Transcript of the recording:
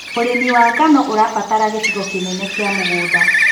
ũrĩmi wa ngano ũrabatara gĩcigo kĩnene kia mũgunda.